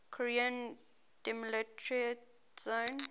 korean demilitarized zone